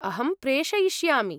अहं प्रेषयिष्यामि।